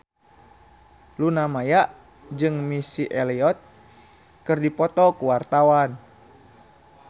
Luna Maya jeung Missy Elliott keur dipoto ku wartawan